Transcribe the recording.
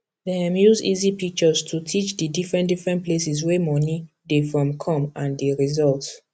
dem use easy pictures to teach di different different places wey money dey from come and di results